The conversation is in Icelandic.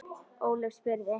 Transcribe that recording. Ólöf spurði